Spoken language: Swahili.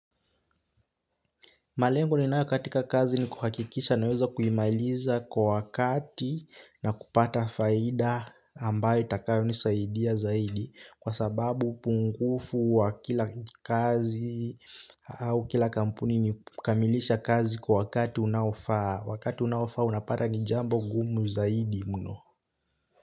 Malengo ninayo katika kazi ni kuhakikisha naweza kuimailiza kwa wakati na kupata faida ambayo itakayo nisaidia zaidi. Kwa sababu pungufu wa kila kazi au kila kampuni ni kukamilisha kazi kwa wakati unaofaa. Wakati unaofaa unapata ni jambo gumu zaidi mno.